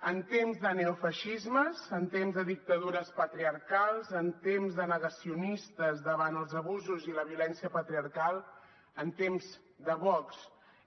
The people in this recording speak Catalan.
en temps de neofeixismes en temps de dictadures patriarcals en temps de negacionistes davant els abusos i la violència patriarcal en temps de vox